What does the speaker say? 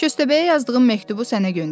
Köstəbəyə yazdığım məktubu sənə göndərirəm.